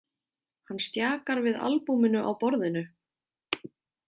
Hann stjakar við albúminu á borðinu.